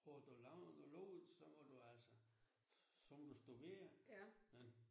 På at du har du lavet noget lort så må du altså så må du stå ved det ja